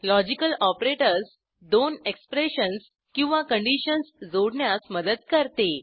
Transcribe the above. logical operators दोन expressions किंवा conditions जोडण्यास मदत करते